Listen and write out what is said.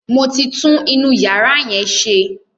Mo ti tún inú yàrá yẹn ṣe.